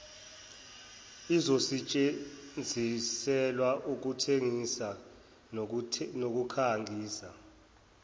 izosetshenziselwa ukuthengisa nokukhangisa